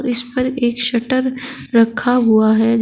इस पर एक शटर रखा हुआ है।